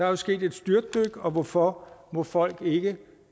jo sket et styrtdyk og hvorfor må folk ikke